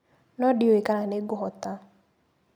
No ndiũĩ kana nĩngũhota.